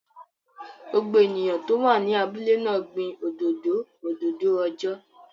Gbogbo ènìyàn tó wà ní abúlé náà gbin òdòdó òdòdó ọjọ́